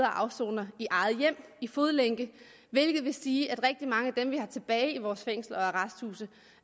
afsoner i eget hjem i fodlænke hvilket vil sige at rigtig mange af dem vi har tilbage i vores fængsler og arresthuse